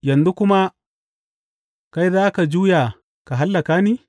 Yanzu kuma kai za ka juya ka hallaka ni?